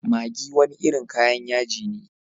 Maggi wani irin kayan yaji ne.